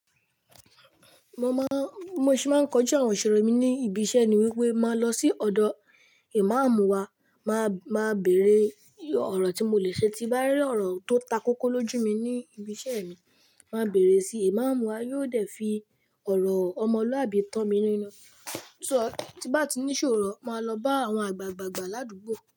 Mo máa, bi mo sì máa ń kọjú àwọn ìṣòro mi ní ibi iṣẹ́ ni wípé máa lọ sí ọ̀dọ̀ Ìmáàmù wa, máa, máa bèrè ọ̀rọ̀ tí mo lè ṣe tí bá rí ọ̀rọ̀ tó takókó lójú mi ní ibi iṣẹ́ mi. Máa bèrè si, Ìmáàmù wa yóò dẹ̀ fi ọ̀rọ̀ ọmọlúàbí tán mi ní inu. So tí bá ti ní ìṣòro, máa lọ bá àwọn àgbàgbà gbà ládùúgbò.